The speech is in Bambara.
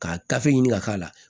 Ka gafe ɲini ka k'a la